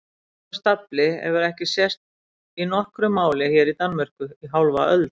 Svona stafli hefur ekki sést í nokkru máli hér í Danmörku í hálfa öld!